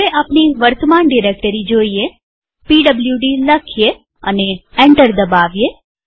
હવે આપણી વર્તમાન ડિરેક્ટરી જોઈએpwd લખીએ અને એન્ટર દબાવીએ